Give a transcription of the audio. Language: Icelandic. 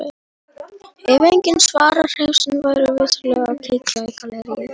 Ef enginn svarar heimasímanum væri viturlegt að kíkja í galleríið.